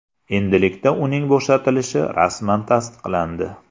Endilikda uning bo‘shatilishi rasman tasdiqlandi.